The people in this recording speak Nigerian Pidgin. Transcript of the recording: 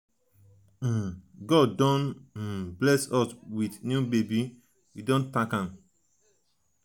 um god don um bless us wit new um baby we dey tank am.